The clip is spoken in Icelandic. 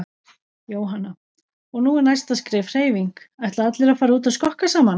Jóhanna: Og nú er næsta skref hreyfing, ætla allir að fara út að skokka saman?